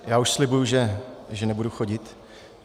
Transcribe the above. Já už slibuji, že nebudu chodit.